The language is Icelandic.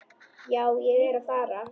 Já, ég er að fara.